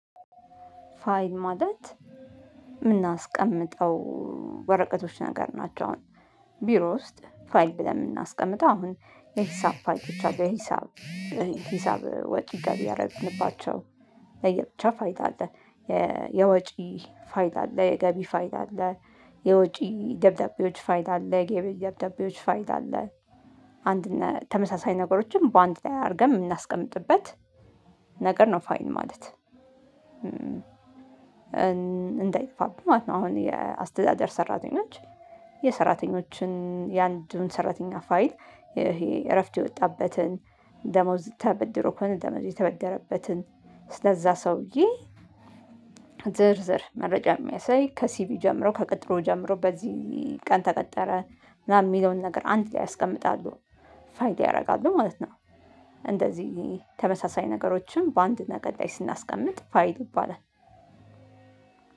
ፋይል ማለት የምናስቀምጠው ወረቀቶች ነገር ናቸው። አሁን ቢሮ ውስጥ ፋይል ብለን የምናስቀምጠው አሁን የሂሳብ ፋይሎች አሉ። የሂሳብ ሂሳብ ወጪ ገቢ ያደረግንባቸው ለየብቻ ፋይል አለ። የወጪ ፋይል አለ የገቢ ፋይል አለ። የወጪ ደብዳቤዎች ፋይል አለ የገቢ ደብዳቤዎች ፋይል አለ። አንድ እና ተመሳሳይ ነገሮችን በአንድ ላይ አድርገን የምናስቀምጥበት ነገር ነው ፋይል ማለት። እንዳይጠፋብኝ ማለት ነው። አሁን የአስተዳደር ሰራተኞች የሰራተኞችን የአንዱን ሰራተኛ ፋይል ይሄ እረፍት የወጣበትን ደሞዝ ተበድሮ ከሆነ ደሞዝ የተበደረበትን ስለዛ ሰውዬ። ዝርዝር መረጃ የሚያሳይ ከሲቪ ጀምሮ ከቅጥሩ ጀምሮ በዚህ ቀን ተቀጠረ ምናምን የሚለውን ነገር አንድ ላይ ያስቀምጣሉ ፋይል ላይ ያደርጋሉ ማለት ነው። እንደዚህ ተመሳሳይ ነገሮችን በአንድ ነገር ላይ ስናስቀምጥ ፋይል ይባላል።